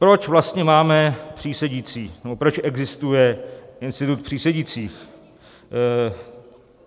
Proč vlastně máme přísedící nebo proč existuje institut přísedících?